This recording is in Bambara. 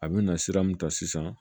A bɛna sira mun ta sisan